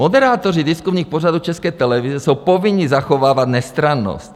Moderátoři diskusních pořadů České televize jsou povinni zachovávat nestrannost.